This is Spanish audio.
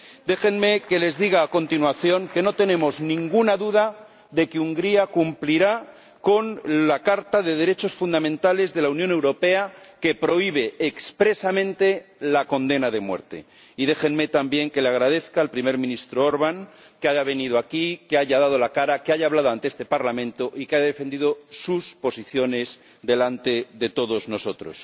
Déjenme que les diga a continuación que no tenemos ninguna duda de que Hungría cumplirá con la Carta de los Derechos Fundamentales de la Unión Europea, que prohíbe expresamente la condena de muerte, y déjenme también que agradezca al Primer Ministro Orbán que haya venido aquí, que haya dado la cara, que haya hablado ante este Parlamento y que haya defendido sus posiciones delante de todos nosotros.